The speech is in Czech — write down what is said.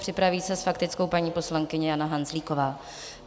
Připraví se s faktickou paní poslankyně Jana Hanzlíková.